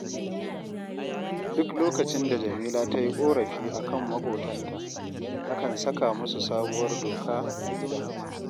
Duk lokacin da Jamila ta yi ƙorafi a kan maƙotanta, nakan saka musu sabuwar doka a gidan